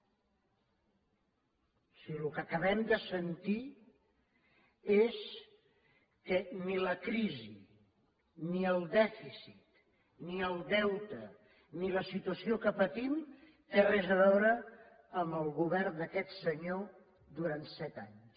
o sigui el que acabem de sentir és que ni la crisi ni el dèficit ni el deute ni la situació que patim té res a veure amb el govern d’aquest senyor durant set anys